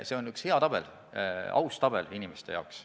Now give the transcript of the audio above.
See on üks hea tabel, aus tabel inimeste jaoks.